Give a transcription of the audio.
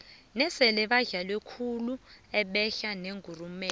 nase badlale kuhle behla nengurumela